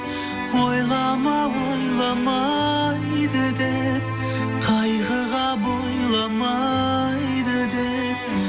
ойлама ойламайды деп қайғыға бойламайды деп